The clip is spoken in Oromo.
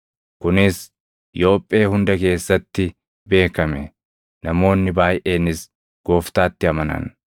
Kunis Yoophee hunda keessatti beekame; namoonni baayʼeenis Gooftaatti amanan.